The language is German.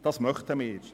Wir befürworten dies.